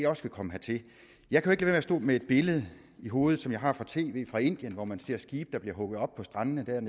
også vil komme hertil jeg kan jo at stå med et billede i hovedet som jeg har fra tv fra indien hvor man ser skibe der bliver hugget op på strandene er